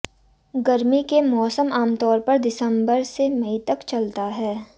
गर्मी के मौसम आमतौर पर दिसंबर से मई तक चलता है